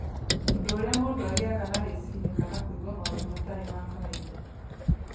ũndũ ũrĩa mũndũ agĩaga na rĩciria kana kũigua maũndũ matarĩ ma kawaida